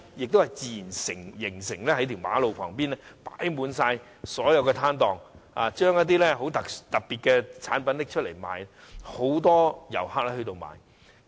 那是自然形成的，在路旁開設了很多攤檔，售賣一些特色產品，很多遊客前往購買。